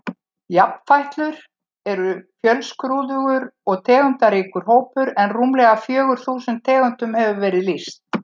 Jafnfætlur eru fjölskrúðugur og tegundaríkur hópur en rúmlega fjögur þúsund tegundum hefur verið lýst.